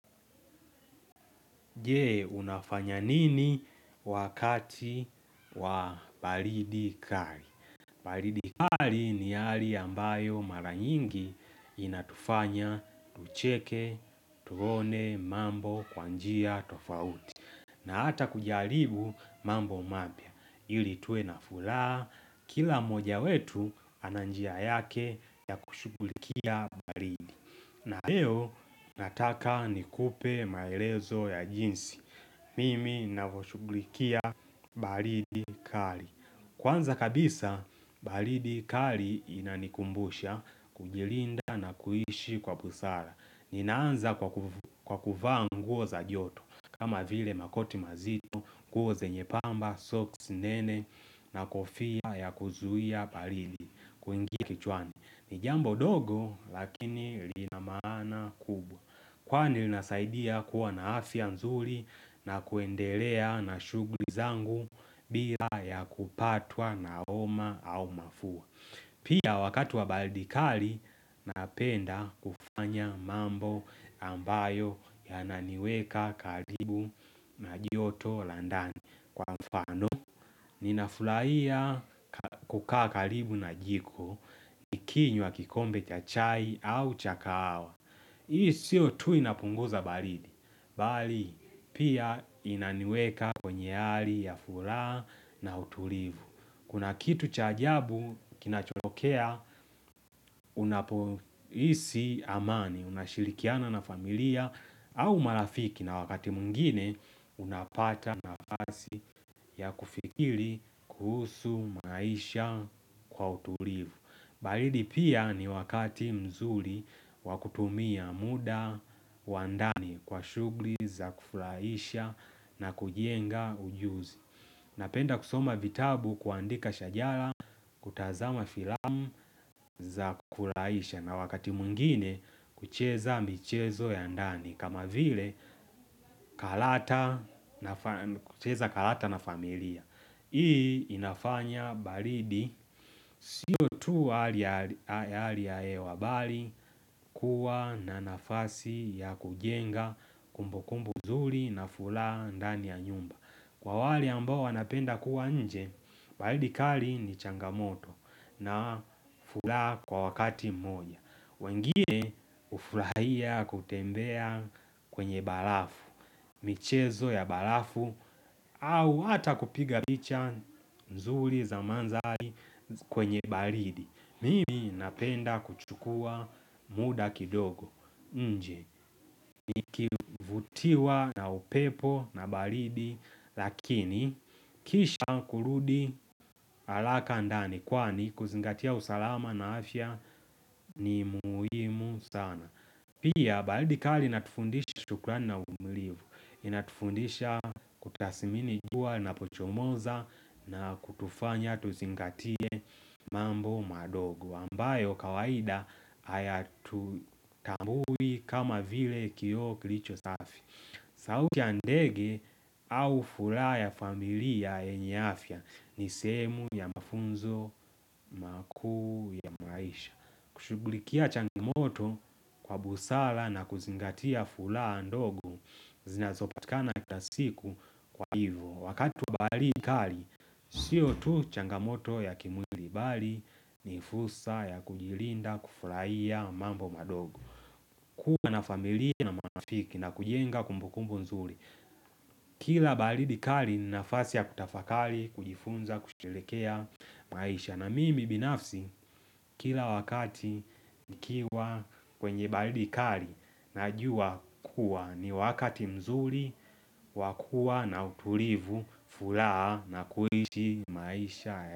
Je, unafanya nini wakati wa baridi kali? Baridi kali ni hali ambayo mara nyingi inatufanya, tucheke, tuone, mambo, kwa njia, tofauti. Na ata kujaribu mambo mapya. Ili tuwe na furaha, kila moja wetu ana njia yake ya kushughulikia baridi. Na leo nataka nikupe maelezo ya jinsi, mimi navyoshughulikia baridi kali. Kwanza kabisa, baridi kali inanikumbusha, kujilinda na kuishi kwa busara. Ninaanza kwa kuvaa nguo za joto, kama vile makoti mazito, nguo zenye pamba, socks nene, na kofia ya kuzuia baridi, kuingia kichwani. Ni jambo ndogo lakini lina maana kubwa. Kwani linasaidia kuwa na afya mzuri na kuendelea na shughuli zangu bila ya kupatwa na homa au mafua Pia wakati wa baridi kali napenda kufanya mambo ambayo yananiweka karibu na joto la ndani Kwa mfano ninafurahia kukaa karibu na jiko Nikinywa kikombe cha chai au cha kahawa Hii sio tu inapunguza baridi bali pia inaniweka kwenye hali ya furaha na utulivu. Kuna kitu cha ajabu kinachotokea unapohisi amani. Unashirikiana na familia au marafiki na wakati mwingine Unapata nafasi ya kufikiri kuhusu maisha kwa utulivu. Baridi pia ni wakati mzuri wa kutumia muda wa ndani kwa shughuli za kufurahisha na kujenga ujuzi Napenda kusoma vitabu, kuandika shajara, kutazama filamu za kufurahisha na wakati mwingine kucheza michezo ya ndani. Kama vile kucheza kalata na familia. Hii inafanya baridi sio tu wa hali ya hewa bali kuwa na nafasi ya kujenga kumbukumbu nzuri na furaha ndani ya nyumba. Kwa wale ambao wanapenda kuwa nje, baridi kali ni changamoto na furaha kwa wakati mmoja. Wengine hufurahia kutembea kwenye barafu. Michezo ya barafu au hata kupiga picha mzuri za mandhari kwenye baridi. Mimi napenda kuchukua muda kidogo nje, nikivutiwa na upepo na baridi Lakini, kisha kurudi haraka ndani Kwani kuzingatia usalama na afya ni muhimu sana. Pia baridi kali inatufundisha shukurani na uvumilivu. Inatufundisha kutasmini jua inapochomoza na kutufanya tuzingatie mambo madogo ambayo kawaida hayatutambui kama vile kioo kilicho safi sauti ya ndege au furaha ya familia yenye afya ni sehemu ya mafunzo, makuu ya maisha. Kushughulikia changamoto kwa busara na kuzingatia furaha ndogo zinazopatikana kila siku kwa hivyo. Wakati wa baridi kali, sio tu changamoto ya kimwili bali ni fursa ya kujilinda kufurahia mambo madogo. Kuwa na familia na marafiki na kujenga kumbukumbu nzuri Kila baridi kali ni nafasi ya kutafakari, kujifunza, kusherehekea maisha na mimi binafsi kila wakati nikiwa kwenye baridi kali Najua kuwa ni wakati mzuri wa kuwa na utulivu, furaha na kuishi maisha.